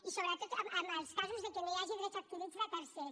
i sobretot en els casos que no hi hagi drets adquirits de tercers